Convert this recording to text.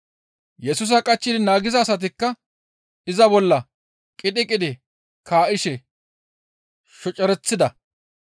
Yesusa qachchidi naagiza asatikka iza bolla qidhi qidhi kaa7ishe shocereththida.